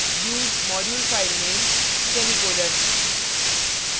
use modulefilename semicolon